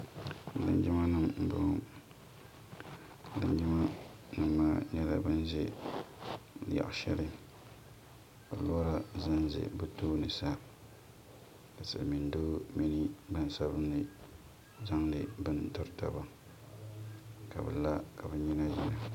linjimanima m-bɔŋɔ linjimanima nyɛla ban ʒe yaɣ' shɛli ka lɔra ʒe ʒe bɛ tooni sa ka silimiin' doo mini gbaŋ' sabinli zaŋdi bini tiri taba ka bɛ la ka bɛ nyina yina.